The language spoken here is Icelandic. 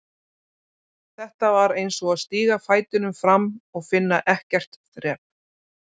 Þetta var eins og að stíga fætinum fram og finna ekkert þrep.